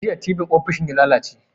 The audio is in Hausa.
Jiya tibin ofishi na ya lalace